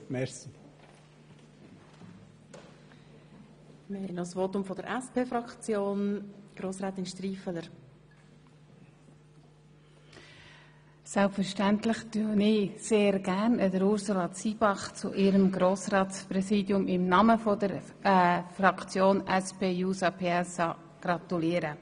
Selbstverständlich gratuliere ich Ursula Zybach sehr gerne im Namen der SP-JUSO-PSA-Fraktion zu ihrer Wahl als Grossratspräsidentin.